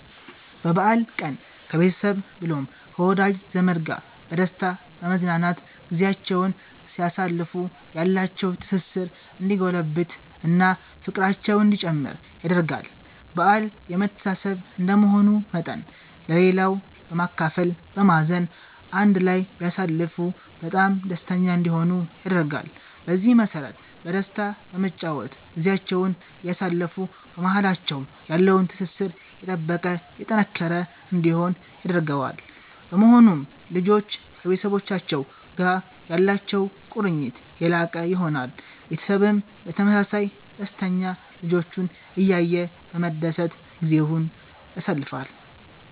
በበአል ቀን ከቤተሰብ ብሎም ከወዳጅ ዘመድ ጋር በደስታ በመዝናናት ጊዚያቸዉን ሲያሳልፉ ያላቸዉ ትስስር እንዲጎለብት እና ፍቅራቸዉ እንዲጨምር ያደርጋል በአል የመተሳሰብ እንደመሆኑ መጠን ለሌላዉ በማካፈል በማዘን አንድ ላይ ቢያሳልፉ በጣም ደስተኛ እንዲሆኑ ያደርጋል። በዚህ መሰረት በደስታ በመጨዋወት ጊዚያቸዉን እያሳለፉ በማሃላቸዉ ያለዉ ትስስር የጠበቀ የጠነከረ እንዲሆን ያደርገዋል። በመሆኑም ልጆች ከቤተሰቡቻቸዉ ጋር ያላቸዉ ቁርኝት የላቀ ይሆናል። ቤተሰብም በተመሳሳይ ደስተኛ ልጆቹን እያየ በመደሰት ጊዜዉን ያሳልፋል